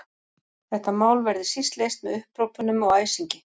Þetta mál verði síst leyst með upphrópunum og æsingi.